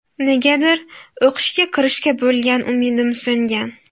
Negadir o‘qishga kirishga bo‘lgan umidim so‘ngan.